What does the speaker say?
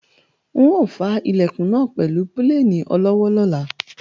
N ò fá Ilẹ̀kùn náà pẹ̀lú pílènì olọ́wọ́ lọ́la